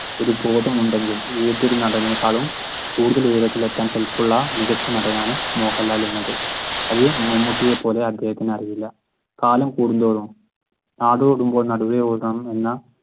ഒരു ബോധമുണ്ടെങ്കിൽ ഏതൊരു നടനെക്കാളും കൂടുതൽ ഉയരത്തിൽ എത്താൻ കല്പുള്ള മികച്ച ഒരു നടനാണ് മോഹൻലാൽ എന്നുള്ളത്. അത് മമ്മൂട്ടിയെ പോലെ അദ്ദേഹത്തിന് അറിയില്ല. കാലം കൂടുന്തോറും നാടോടുമ്പോൾ നടുവേ ഓടണം എന്ന